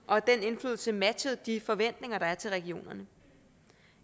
og at den indflydelse matchede de forventninger der er til regionerne